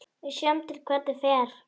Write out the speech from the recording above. Við sjáum til hvernig fer.